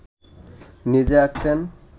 নিজেই আঁকতেন